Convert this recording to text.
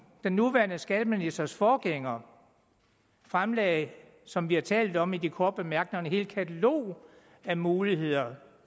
den nuværende skatteministers forgænger fremlagde som vi har talt om i de korte bemærkninger et helt katalog af muligheder